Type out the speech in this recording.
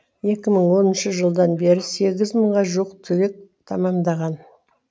екі мың оныншы жылдан бері сегіз мыңға жуық түлек тамамдаған